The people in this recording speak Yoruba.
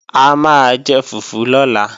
A máa jẹ fùfú lọ́la